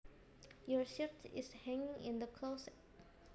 Your shirt is hanging in the closet